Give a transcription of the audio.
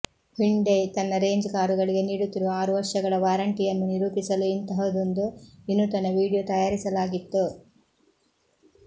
Hyundai ತನ್ನ range ಕಾರುಗಳಿಗೆ ನೀಡುತ್ತಿರುವ ಆರು ವರ್ಷಗಳ ವಾರಂಟಿಯನ್ನು ನಿರೂಪಿಸಲು ಇಂತಹದೊಂದು ವಿನೂತನ ವೀಡಿಯೋ ತಯಾರಿಸಲಾಗಿತ್ತು